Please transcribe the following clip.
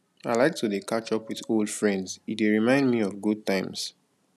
i like to dey catch up with old friends e dey remind me of good times